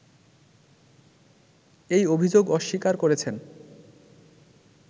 এই অভিযোগ অস্বীকার করেছেন